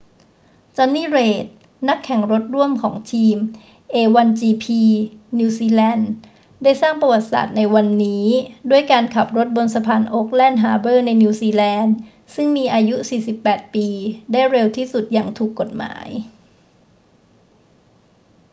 jonny reid นักแข่งรถร่วมของทีม a1gp นิวซีแลนด์ได้สร้างประวัติศาสตร์ในวันนี้ด้วยการขับรถบนสะพานโอ๊คแลนด์ฮาร์เบอร์ในนิวซีแลนด์ซึ่งมีอายุ 48 ปีได้เร็วที่สุดอย่างถูกกฎหมาย